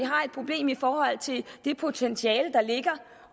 har et problem i forhold til det potentiale der ligger